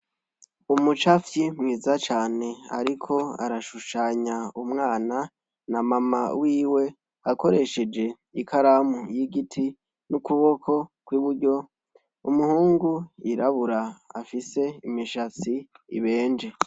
Umucapfyi mwiza cane ariko arashushanya umwana na mama wiwe, akoresheje ikaramu y’igiti n’ukuboko kw’iburyo , umuhungu yirabura afise imishatsi ibenje.